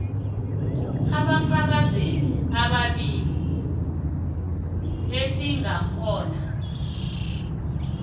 abafakazeli ababili esingakghona